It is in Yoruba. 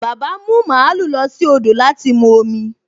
Bàbá ń mú màlúù lọ sí odò láti mu omi